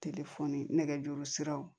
nɛgɛjuru siraw